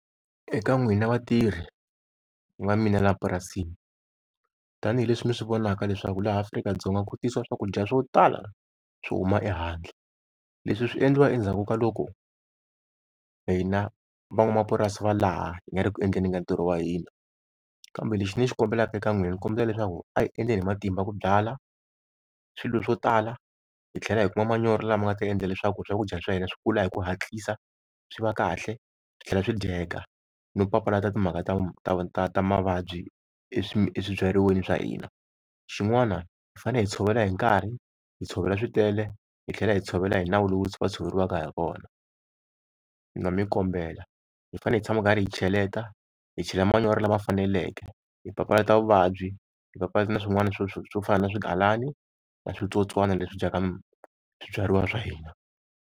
Eka n'wina vatirhi va mina laha purasini, tani hi leswi mi swi vonaka leswaku laha Afrika-Dzonga ku tisiwa swakudya swo tala swo huma ehandle, leswi swi endliwa endzhaku ka loko hina van'wamapurasi va laha hi nga ri ku endleni ka ntirho wa hina. Kambe lexi ni xi kombelaka eka n'wina, ni kombela leswaku a hi endleni hi matimba ku byala swilo swo tala hi tlhela hi kuma manyoro lama nga ta endla leswaku swakudya swa hina swi kula hi ku hatlisa, swi va kahle, swi tlhela swi dyeka, no papalata timhaka ta, ta mavabyi eswibyariweni swa hina. Xin'wana hi fanele hi tshovela hi nkarhi, hi tshovela switele, hi tlhela hi tshovela hi nawu lowu va tshoveriwaka ha wona no mi kombela. Hi fanele hi tshama karhi hi cheleta hi chela manyoro lama faneleke, hi papalata vuvabyi, hi papalata na swin'wana swo, swo fana na swigalani na switsotswana leswi dyaka swibyariwa swa hina.